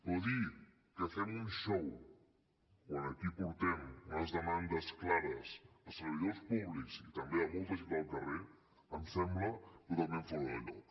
però dir que fem un xou quan aquí portem unes demandes clares de servidors públics i també de molta gent del carrer em sembla totalment fora de lloc